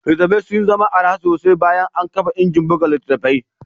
Littattafai sun zama araha sosai bayan an kafa injin buga littattafai